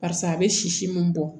Barisa a bɛ sisi min bɔ